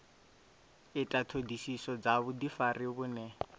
ita ṱhoḓisiso dza vhuḓifari vhune